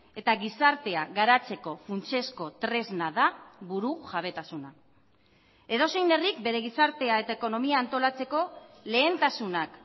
eta gizartea garatzeko funtsezko tresna da burujabetasuna edozein herrik bere gizartea eta ekonomia antolatzeko lehentasunak